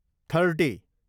thirty